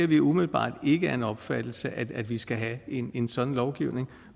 vi er umiddelbart ikke af den opfattelse at vi skal have en en sådan lovgivning